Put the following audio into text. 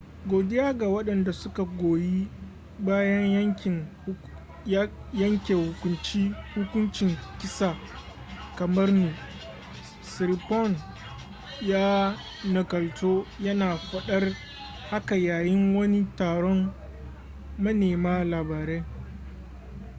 godiya ga wadanda suka goyi bayan yanke hukuncin kisa kamar ni,”siriporn ya nakalto yana fadar haka yayin wani taron manema labarai